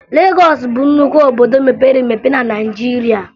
Legọọsụ bụ nnukwu obodo mepere emepe na Naịjirịa